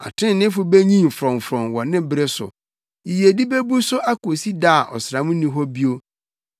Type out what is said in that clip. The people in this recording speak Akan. Atreneefo benyin frɔmfrɔm wɔ ne bere so; yiyedi bebu so akosi da a ɔsram nni hɔ bio.